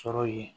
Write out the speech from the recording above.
Sɔrɔ ye